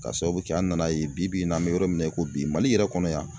Ka sababu kɛ an nana ye bi bi in n'an bɛ yɔrɔ min na i ko bi mali yɛrɛ kɔnɔ yan.